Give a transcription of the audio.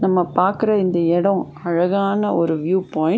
நம்ம பாக்குற இந்த இடம் அழகான ஒரு வியூ பாயிண்ட் .